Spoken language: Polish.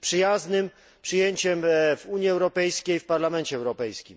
przyjaznym przyjęciem w Unii Europejskiej i w Parlamencie Europejskim.